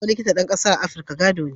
Kwarewar Likitan ɗan ƙasa a Afirka gado ne